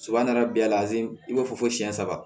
Soba nana bɛn a la i b'a fɔ ko siɲɛ saba